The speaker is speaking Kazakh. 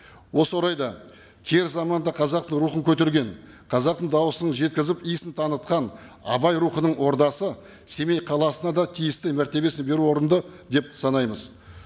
осы орайда кері заманда қазақтың рухын көтерген қазақтың дауысын жеткізіп иісін танытқан абай рухының ордасы семей қаласына да тиісті мәртебесін беру орынды деп санаймыз